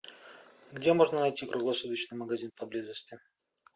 где можно найти круглосуточный магазин поблизости